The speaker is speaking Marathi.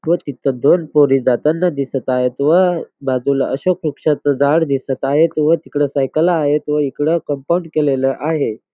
व तिथ दोन पोरी जाताना दिसत आहेत व बाजूला अशोक वृक्षाचं झाडं दिसत आहेत व तिकड सायकला आहेत व इकडं कंपाऊंड केलेल आहे.